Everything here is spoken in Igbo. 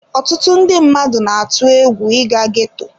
Ọtụtụ ndị mmadụ na-atụ egwu ịga ghetto.